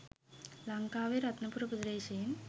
ලං‍කාවේ රත්නපුර ප්‍රදේශයෙන්